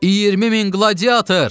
20 min qladiator!